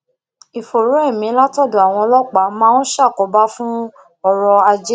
ìfòòró emi látòdò àwọn ọlópàá máa ń ṣàkóbá fún oro aje